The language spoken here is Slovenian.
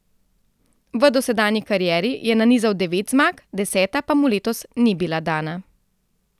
V dosedanji karieri je nanizal devet zmag, deseta pa mu letos ni bila dana.